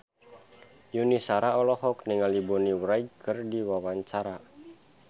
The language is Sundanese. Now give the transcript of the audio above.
Yuni Shara olohok ningali Bonnie Wright keur diwawancara